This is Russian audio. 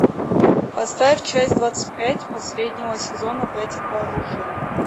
поставь часть двадцать пять последнего сезона братья по оружию